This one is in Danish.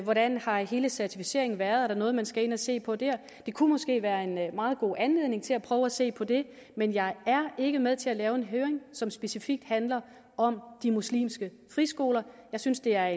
hvordan har hele certificeringen været og er der noget man skal ind at se på der det kunne måske være en meget god anledning til at prøve at se på det men jeg er ikke med til at lave en høring som specifikt handler om de muslimske friskoler jeg synes det er